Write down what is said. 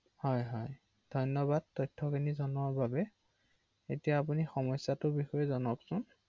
অ অ